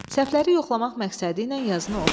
Səhvləri yoxlamaq məqsədi ilə yazını oxu.